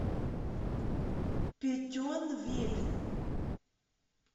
петьонвиль